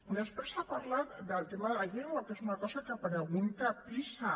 després ha parlat del tema de la llengua que és una cosa que pregunta pisa